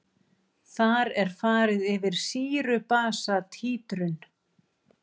Þar er farið yfir sýru-basa títrun.